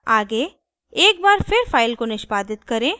आगे एक बार फिर फाइल को निष्पादित करें